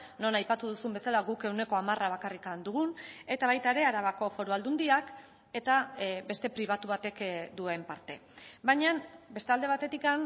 non aipatu duzun bezala guk ehuneko hamara bakarrik dugun eta baita ere arabako foru aldundiak eta beste pribatu batek duen parte baina beste alde batetik